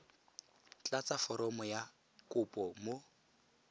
tlatsa foromo ya kopo mo